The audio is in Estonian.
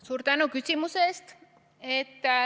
Suur tänu küsimuse eest!